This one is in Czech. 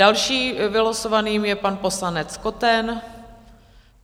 Dalším vylosovaným je pan poslanec Koten.